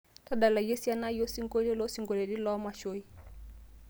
tadalayu esiana ai osingolio loosingolioitin loomashoi